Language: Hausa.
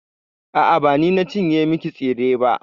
A'a, ba ni na cinye miki tsire ba.